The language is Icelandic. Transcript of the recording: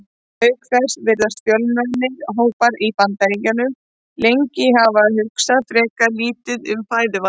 Auk þess virðast fjölmennir hópar í Bandaríkjunum lengi hafa hugsað frekar lítið um fæðuval.